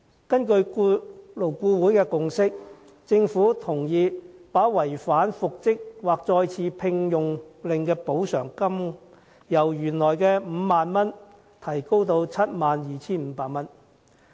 根據勞顧會的共識，政府同意把違反復職或再次聘用令須支付額外款項的上限，由原本 50,000 元提高至 72,500 元。